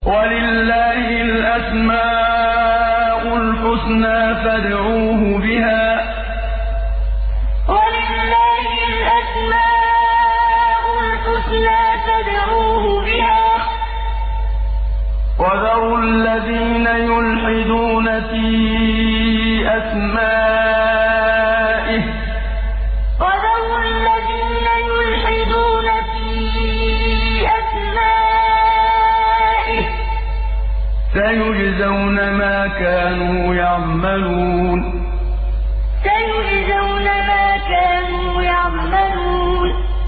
وَلِلَّهِ الْأَسْمَاءُ الْحُسْنَىٰ فَادْعُوهُ بِهَا ۖ وَذَرُوا الَّذِينَ يُلْحِدُونَ فِي أَسْمَائِهِ ۚ سَيُجْزَوْنَ مَا كَانُوا يَعْمَلُونَ وَلِلَّهِ الْأَسْمَاءُ الْحُسْنَىٰ فَادْعُوهُ بِهَا ۖ وَذَرُوا الَّذِينَ يُلْحِدُونَ فِي أَسْمَائِهِ ۚ سَيُجْزَوْنَ مَا كَانُوا يَعْمَلُونَ